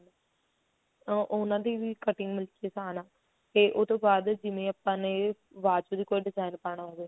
ਅਹ ਉਹਨਾ ਦੀ ਵੀ cutting ਮਤਲਬ ਕੀ ਆਸਾਨ ਆ ਤੇ ਉਹ ਤੋਂ ਬਾਅਦ ਜਿਵੇਂ ਆਪਾਂ ਨੇ ਬਾਂਹ ਦੇ ਉੱਤੇ design ਪਾਣਾ ਹੋਵੇ